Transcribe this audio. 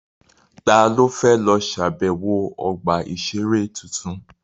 Ta ló fẹ́ lọ ṣàbẹ̀wọ̀ ọgbà-ìṣeré tuntun?